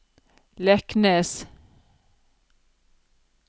Leknes